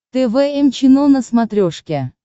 тэ вэ эм чено на смотрешке